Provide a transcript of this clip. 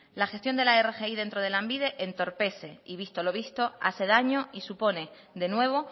la gestión de la rgi dentro de lanbide entorpece y visto lo visto hace daño y supone de nuevo